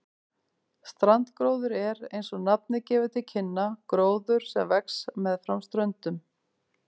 Strandgróður er, eins og nafnið gefur til kynna, gróður sem vex meðfram ströndum.